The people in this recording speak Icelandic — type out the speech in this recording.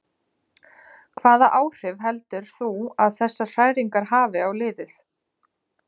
Hvaða áhrif heldur þú að þessar hræringar hafi á liðið?